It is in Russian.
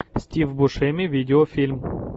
стив бушеми видеофильм